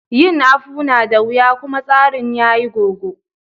Yin Akpu na da wiya kuma tsarin yayi gogo.